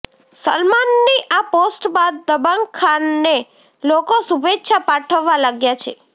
સલમાનની આ પોસ્ટ બાદ દબંગ ખાનને લોકો શુભેચ્છા પાઠવવા લાગ્યા છે